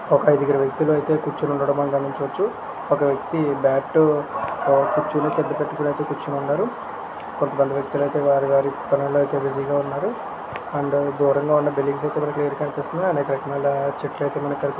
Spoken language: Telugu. ఒక ఐదుగురు వ్యక్తులు అయితే కూర్చొని ఉండడం మనం గమనించవచ్చు ఒక వ్యక్తి బ్యాటు ఆ కూర్చొని ఉన్నారు అంటి పెట్టుకున్నటు కొందరు వ్యక్తులు అయితే వారి వారి పనులలో అయితే బిజీ గా ఉన్నారు అండ్ దూరంగా ఉన్న బిల్డింగ్స్ అయితే మనకీ క్లియర్ కనిపిస్తునాయ్ అండ్ అక్కడ వెనకాల చెట్లు అయితే మనకీ కనిపి --